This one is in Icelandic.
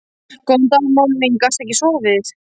Góðan dag mamma mín, gastu ekki sofið?